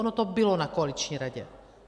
Ono to bylo na koaliční radě.